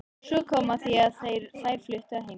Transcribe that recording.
Svo kom að því að þær fluttu að heiman.